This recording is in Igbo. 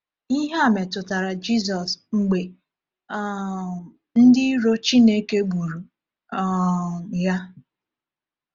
Ihe a metụtara Jizọs mgbe um ndị iro Chineke gburu um ya.